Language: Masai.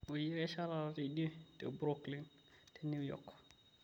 oyie kesha taata teidie te brooklyn te new york